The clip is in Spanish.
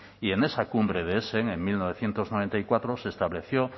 y en esa cumbre de essen en mil novecientos noventa y cuatro se estableció